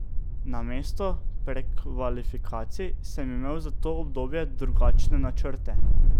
Namesto prekvalifikacij sem imel za to obdobje drugačne načrte.